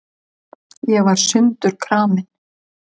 Ég var sundurkramin.